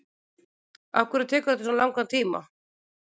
afhverju tekur þetta svona langan tíma